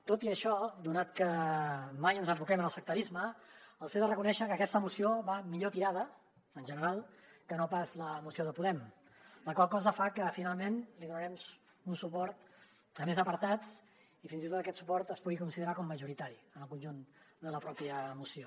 tot i això donat que mai ens enroquem en el sectarisme els he de reconèixer que aquesta moció va millor tirada en general que no pas la moció de podem la qual cosa fa que finalment donarem un suport a més apartats i fins i tot aquest suport es pugui considerar com majoritari al conjunt de la pròpia moció